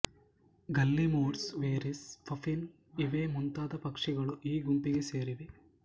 guillemots ವೆರಿಸ್ puffin ಇವೇ ಮುಂತಾದ ಪಕ್ಷಿಗಳು ಈ ಗುಂಪಿಗೆ ಸೇರಿವೆ